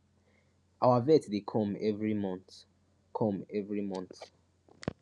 our vet dey come every month come every month